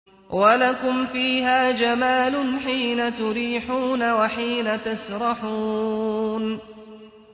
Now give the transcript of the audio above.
وَلَكُمْ فِيهَا جَمَالٌ حِينَ تُرِيحُونَ وَحِينَ تَسْرَحُونَ